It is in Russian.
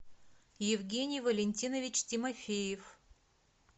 евгений валентинович тимофеев